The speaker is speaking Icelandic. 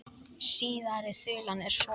Síðari þulan er svona